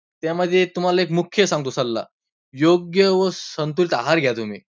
त्यामध्ये तुम्हाला मुख्य सांगतो सल्ला, योग्य व संतुलित आहार घ्या तुम्ही.